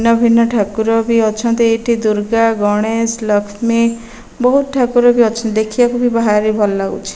ଭିନ୍ନ ଭିନ୍ନ ଠାକୁର ବି ଅଛନ୍ତି ଏଇଠି ଦୁର୍ଗା ଗଣେଶ ଲଷ୍ମୀ ବହୁତ ଠାକୁର ବି ଅଛନ୍ତି ଦେଖିବାକୁ ଭାରି ଭଲଲାଗୁଛି।